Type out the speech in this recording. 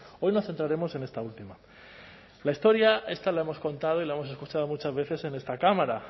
hoy nos centraremos en esta última la historia esta la hemos contado y la hemos escuchado muchas veces en esta cámara